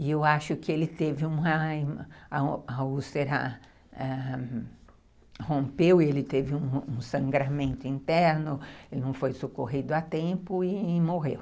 E eu acho que ele teve uma ãh ãh... a úlcera rompeu, ele teve um sangramento interno, ele não foi socorrido há tempo e morreu.